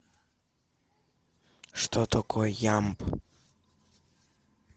что такое ямб